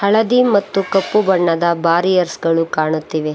ಹಳದಿ ಮತ್ತು ಕಪ್ಪು ಬಣ್ಣದ ಬಾರಿಯರ್ಸ್ ಗಳು ಕಾಣುತ್ತಿವೆ.